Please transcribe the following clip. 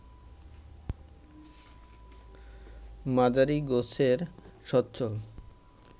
মাঝারি গোছের সচ্ছল